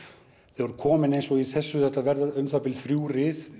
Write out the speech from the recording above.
þú ert komin eins og í þessu það verða um það bil þrjú rið